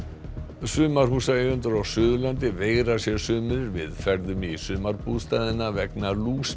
sumarhúsaeigendur á Suðurlandi veigra sér sumir við ferðum í bústaðina vegna